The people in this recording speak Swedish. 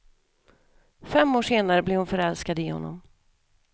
Fem år senare blev hon förälskad i honom.